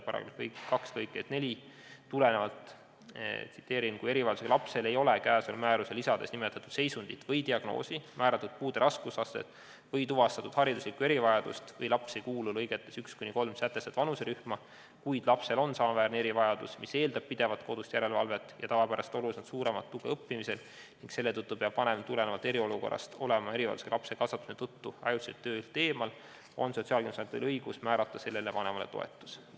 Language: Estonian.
Tsiteerin § 2 lõiget 4: "Kui erivajadusega lapsel ei ole käesoleva määruse lisades nimetatud seisundit või diagnoosi, määratud puude raskusastet või tuvastatud hariduslikku erivajadust või laps ei kuulu lõigetes 1–3 sätestatud vanuserühma, kuid lapsel on samaväärne erivajadus, mis eeldab pidevat kodust järelevalvet ja tavapärasest oluliselt suuremat tuge õppimisel, ning selle tõttu peab vanem tulenevalt eriolukorrast olema erivajadusega lapse kasvatamise tõttu ajutiselt töölt eemal, on Sotsiaalkindlustusametil õigus määrata sellele vanemale toetus.